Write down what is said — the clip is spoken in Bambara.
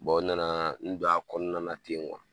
nana n don a kɔnɔna na ten